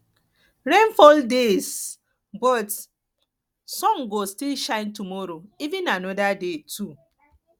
rain fall todayyes but sun go still shine tomorrow even anoda day too